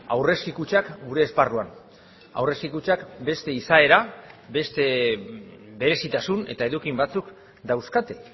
aurrezki kutxak gure esparruan aurrezki kutxak beste izaera beste berezitasun eta eduki batzuk dauzkate